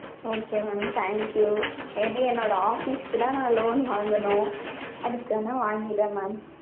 okay mam, thank you may be என்னோட office க்கு தான் நா loan வாங்கணும். அதுக்கு வேணா வாங்குறேன் mam.